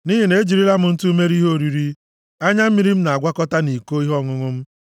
Nʼihi na ejirila m ntụ mere ihe oriri m, anya mmiri m na-agwakọta nʼiko ihe ọṅụṅụ m